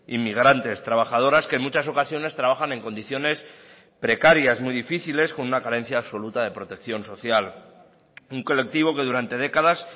inmigrantes trabajadoras que en muchas ocasiones trabajan en condiciones precarias muy difíciles con una carencia absoluta de protección social un colectivo que durante décadas